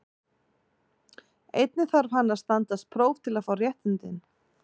Einnig þarf hann að standast próf til að fá réttindin.